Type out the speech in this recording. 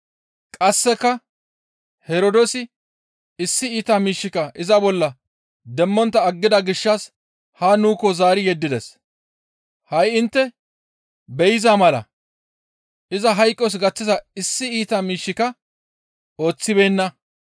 Qasseka Herdoosi issi iita miishshika iza bolla demmontta aggida gishshas haa nuukko zaari yeddides. Ha7i intte be7iza mala iza hayqos gaththiza issi iita miishshika ooththibeenna.